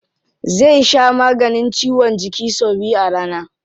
Zai sha maganin ciwon jiki sau biyu a rana.